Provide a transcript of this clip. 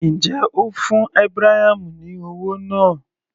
Ǹjẹ́ o fún Abraham ní owó náà?